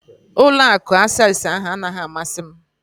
Ụlọ akụ Access ahụ anaghị amasị m